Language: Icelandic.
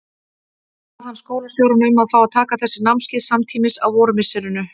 Bað hann skólastjórann um að fá að taka þessi námskeið samtímis á vormisserinu.